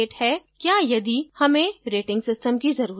क्या यदि हमें rating system की जरूरत है